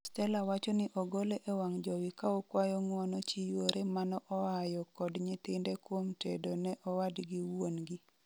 Stella wacho ni ogole e wang' jowi kaokwayo ng'wono chi yuore manoayo kod nyithinde kuom tedo ne owadgi wuongi.